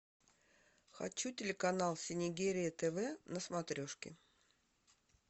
хочу телеканал синергия тв на смотрешке